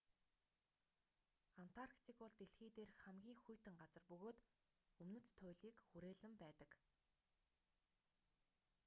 антарктик бол дэлхий дээрх хамгийн хүйтэн газар бөгөөд өмнөд туйлыг хүрээлэн байдаг